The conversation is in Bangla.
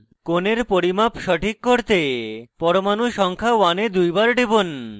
কোণের পরিমাপ সঠিক করতে পরমাণু সংখ্যা 1 এ দুইবার টিপুন